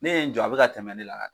Ne ye n jɔ a bɛ ka tɛmɛ ne la